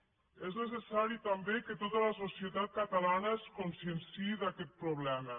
és necessari també que tota la societat catalana es conscienciï d’aquest problema